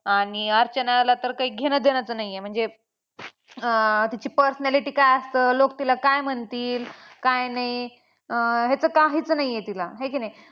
आणि अर्चनाला तर काही घेणं देणंच नाही आहे म्हणजे अं तिची personality काय असलं लोक तिला काय म्हणतील काय नाही अं ह्याच काहीच नाही आहे तिला आहे की नाही.